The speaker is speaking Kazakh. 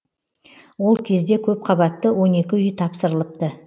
ол кезде көпқабатты он екі үй тапсырылыпты